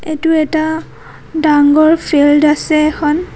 এইটো এটা ডাঙৰ ফিল্ড আছে এখন।